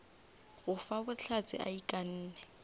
go fa bohlatse a ikanne